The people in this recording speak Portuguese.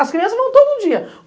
As crianças vão todo dia.